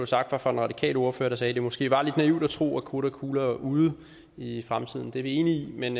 sagt var fra den radikale ordfører der sagde at det måske var lidt naivt at tro at krudt og kugler er ude i fremtiden det er vi enige i men